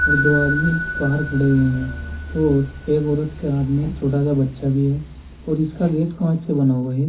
दो आदमी बाहर खड़े हुए हैं और एक औरत के हाथ में एक छोटा सा बच्चा भी है और इसका गेट कांच से बना हुआ है।